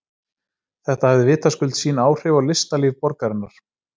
Þetta hafði vitaskuld sín áhrif á listalíf borgarinnar.